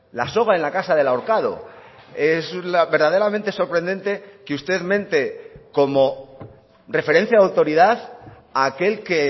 la soga en la casa del ahorcado es verdaderamente sorprendente que usted mente como referencia de autoridad a aquel que